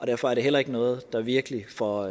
derfor er det heller ikke noget der virkelig får